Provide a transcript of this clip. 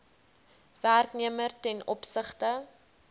werknemer ten opsigte